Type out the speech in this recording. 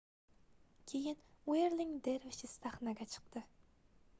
keyin wherling dervishes sahnaga chiqdi